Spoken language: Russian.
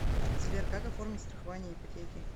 сбер как оформить страхование ипотеки